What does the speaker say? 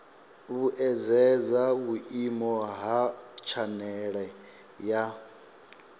vhuedzedza vhuimo ha tshanele ya